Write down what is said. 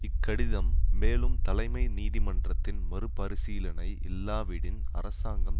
இக்கடிதம் மேலும் தலைமை நீதிமன்றத்தின் மறுபரிசீலனை இல்லாவிடின் அரசாங்கம்